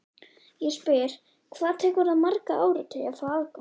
Ég spyr, hvað tekur það marga áratugi að fá afganginn?